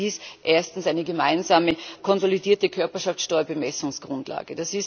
Es sind dies erstens eine gemeinsame konsolidierte Körperschaftssteuer Bemessungsgrundlage.